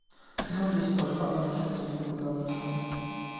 ну без похабных шуток никуда в нашем мире